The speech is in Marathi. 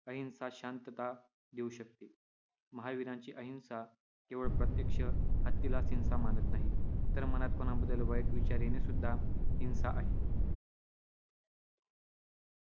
अहिंसाच शांतता देऊ शकते. महावीरांची अहिंसा केवळ प्रत्यक्ष हत्येलाच हिंसा मानत नाही, तर मनात कोणाबद्दल वाईट विचार येणे ही सुद्धा हिंसा आहे.